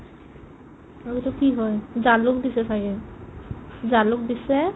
আৰু এইটো কি হয় জালুক দিছে ছাগে জালুক দিছে